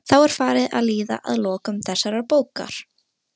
Skiljið þið ekki að ríkisráð Noregs hefur verið leyst upp!